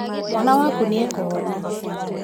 Mwana waku nĩ aĩkũhona.